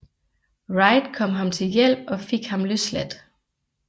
Wright kom ham til hjælp og fik ham løsladt